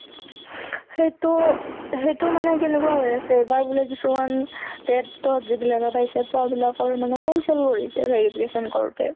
সেইটো সেইটো মানে কেনেকুৱা হৈ আছে এবাৰ বুলে কিছুমান TET ত যিবিলাকে পাইছে, পোৱা বিলাকৰ মানে cancel কৰিছে verification কৰোতে